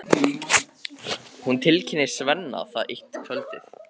Hún tilkynnir Svenna það eitt kvöldið.